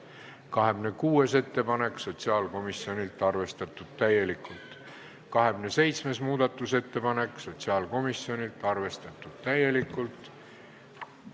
26. muudatusettepanek sotsiaalkomisjonilt, arvestatud täielikult, 27. muudatusettepanek sotsiaalkomisjonilt, arvestatud täielikult.